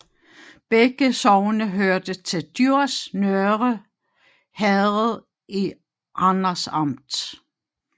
Begge sogne hørte til Djurs Nørre Herred i Randers Amt